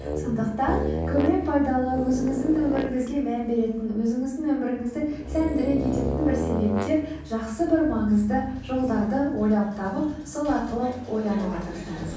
сондықтан көбірек пайдалы өзіңіздің өміріңізге мән беретін өзіңіздің өміріңізді сәндіре кететін бір себептер жақсы бір маңызды жолдарды ойлап тауып сол арқылы ойлануға тырысыңыз